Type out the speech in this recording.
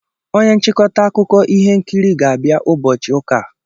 Onye nchịkọta akụkọ ihe nkiri ga-abịa ụbọchị ụka a.